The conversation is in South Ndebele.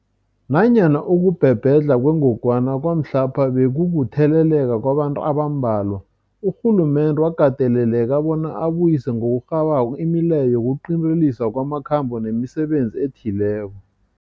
Nanyana ukubhebhedlha kwengogwana kwamhlapha bekukutheleleka kwabantu abambalwa, urhulumende wakateleleka bona abuyise ngokurhabako imileyo yokuqinteliswa kwamakhambo nemisebenzi ethileko.